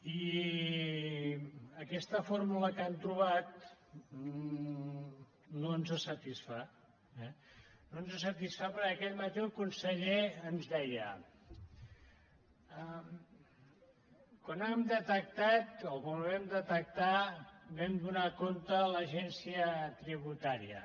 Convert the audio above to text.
i aquesta fórmula que han trobat no ens satisfà eh no ens satisfà perquè aquest matí el conseller ens deia quan ho hem detectat o quan ho vam detectar vam donar ne compte a l’agència tributària